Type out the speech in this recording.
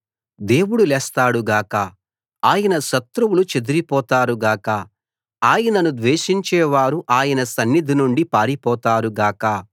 దేవుడు లేస్తాడు గాక ఆయన శత్రువులు చెదరిపోతారు గాక ఆయనను ద్వేషించేవారు ఆయన సన్నిధి నుండి పారిపోతారు గాక